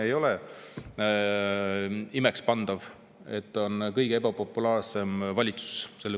Ei ole imekspandav, et see on kuue aasta kõige ebapopulaarsem valitsus.